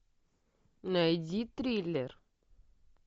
найди триллер